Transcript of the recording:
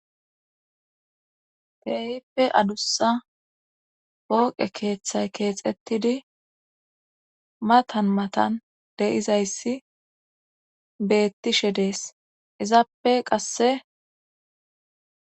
Teyippe adussa pooqe keeththay keexettidi matan matan de7izayssi beettishe dees izappe qasse